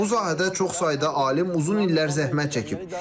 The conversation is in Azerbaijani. Bu sahədə çox sayda alim uzun illər zəhmət çəkib.